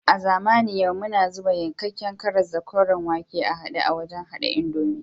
A zamanin yau muna zuba yankakken karas da koren wake a hade a wajen hada indomi